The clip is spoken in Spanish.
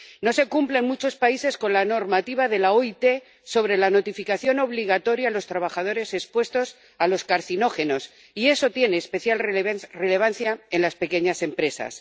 No se cumple en muchos países con la normativa de la OIT sobre la notificación obligatoria a los trabajadores expuestos a los carcinógenos, y eso tiene especial relevancia en las pequeñas empresas.